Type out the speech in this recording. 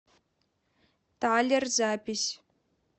талер запись